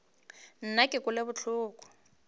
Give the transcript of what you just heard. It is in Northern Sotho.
nna ke kwele bohloko bja